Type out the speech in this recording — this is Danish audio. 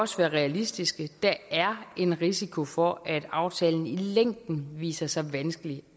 også være realistiske der er en risiko for at aftalen i længden viser sig vanskelig